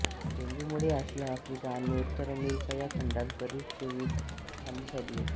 डेंग्यूमुळे Asia Africa आणि उत्तर America ह्या खंडांत बरीच जीवित हानी झाली होती